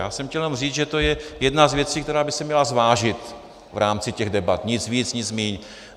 Já jsem chtěl jenom říct, že to je jedna z věcí, která by se měla zvážit v rámci těch debat, nic víc, nic míň.